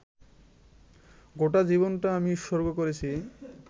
গোটা জীবনটা আমি উৎসর্গ করেছি